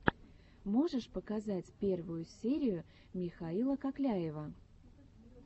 можешь показать первую серию михаила кокляева